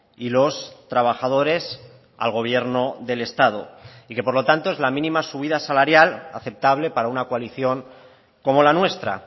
y los trabajadores al gobierno del estado y que por lo tanto es la mínima subida salarial aceptable para una coalición como la nuestra